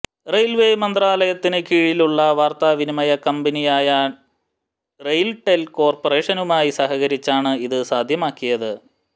railway മന്ത്രാലയത്തിന് കീഴിലുള്ള വാര്ത്താവിനിമയ കമ്പനിയായ റെയില്ടെല് കോര്പ്പറേഷനുമായി സഹകരിച്ചാണ് ഇത് സാധ്യമാക്കിയത്